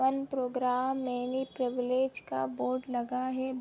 One program many privilege का board लगा है।